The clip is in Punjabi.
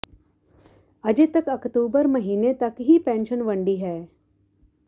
ਅਜੇ ਤਕ ਅਕਤੂਬਰ ਮਹੀਨੇ ਤਕ ਹੀ ਪੈਨਸ਼ਨ ਵੰਡੀ ਹੈ